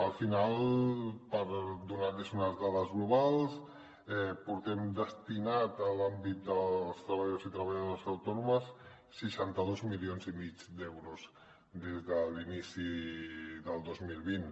al final per donar los unes dades globals portem destinat a l’àmbit dels treballadors i treballadores autònomes seixanta dos milions i mig d’euros des de l’inici del dos mil vint